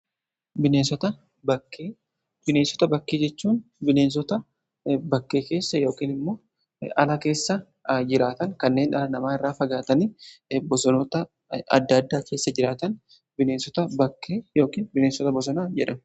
Bineensota bakkee:Bineensota bakkee jechuun bineensota bakkee keessa yookiin immoo ala keessa jiraatan, kanneen dhala namaa irraa fagaatanii bosonoota adda addaa keessa jiraatan bineensota bakkee yookiin bineensota bosonaa jedhamu.